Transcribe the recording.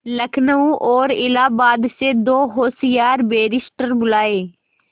लखनऊ और इलाहाबाद से दो होशियार बैरिस्टिर बुलाये